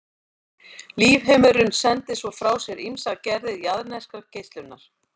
Lífheimurinn sendir svo frá sér ýmsar gerðir jarðneskrar geislunar.